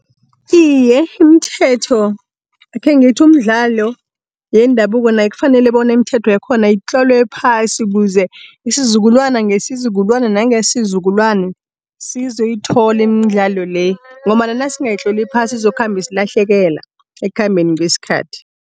Iye, imithetho akhengithi umdlalo yendabuko nayo kufanele bona imithetho yakhona itlolwe phasi ukuze isizukulwana ngesizukulwana nangesizukulwana sizoyithola imidlalo le ngombana nasingayitloli phasi izokhamba isilahlekela ekhambeni kweskhathi.